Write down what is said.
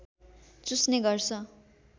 चुस्ने गर्छ